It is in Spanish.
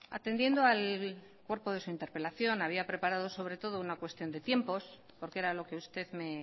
atendiendo al cuerpo de su interpelación había preparado sobre todo una cuestión de tiempos porque era lo que usted me